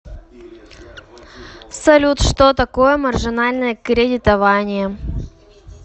салют что такое маржинальное кредитование